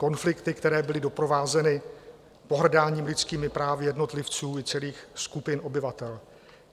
Konflikty, které byly doprovázeny pohrdáním lidskými právy jednotlivců i celých skupin obyvatel.